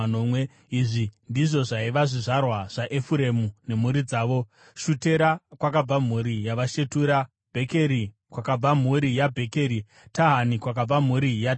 Izvi ndizvo zvaiva zvizvarwa zvaEfuremu nemhuri dzavo: Shutera, kwakabva mhuri yaShutera; Bhekeri, kwakabva mhuri yaBhekeri; Tahani, kwakabva mhuri yaTahani.